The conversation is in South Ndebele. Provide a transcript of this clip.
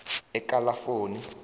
ekalafoni